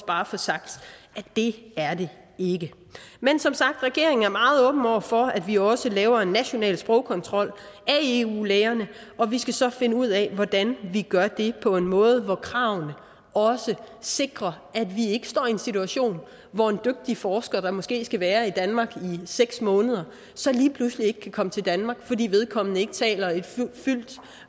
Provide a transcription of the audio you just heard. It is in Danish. bare at få sagt at det er det ikke men som sagt er regeringen meget åben over for at vi også laver en national sprogkontrol af eu lægerne og vi skal så finde ud af hvordan vi gør det på en måde hvor kravene også sikrer at vi ikke står i en situation hvor en dygtig forsker der måske skal være i danmark i seks måneder så lige pludselig ikke kan komme til danmark fordi vedkommende ikke taler et